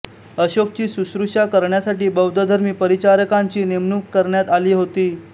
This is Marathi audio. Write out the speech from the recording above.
अशोकची शुश्रूषा करण्यासाठी बौद्धधर्मी परिचारकांची नेमणूक करण्यात आली होती